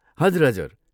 हजुर, हजुर।